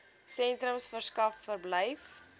sentrums verskaf verblyf